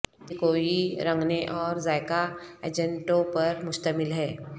یہ کوئی رنگنے اور ذائقہ ایجنٹوں پر مشتمل ہے